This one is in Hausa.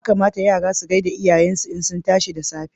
Ya kamata Yara su gaishe lyayensu da yayensu idan sun tashi da tsafe.